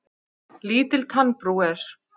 Lítil tannbrú er.